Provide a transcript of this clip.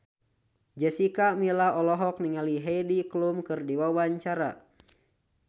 Jessica Milla olohok ningali Heidi Klum keur diwawancara